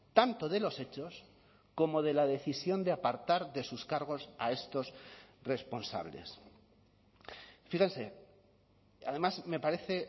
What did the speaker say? tanto de los hechos como de la decisión de apartar de sus cargos a estos responsables fíjense además me parece